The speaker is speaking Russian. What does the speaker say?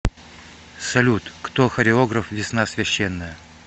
салют кто хореограф весна священная